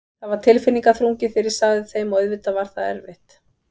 Það var tilfinningaþrungið þegar ég sagði þeim og auðvitað það var erfitt.